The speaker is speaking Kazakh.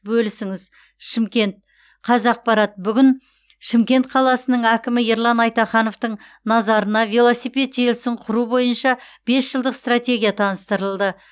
бөлісіңіз шымкент қазақпарат бүгін шымкент қаласының әкімі ерлан айтахановтың назарына велосипед желісін құру бойынша бес жылдық стратегия таныстырылды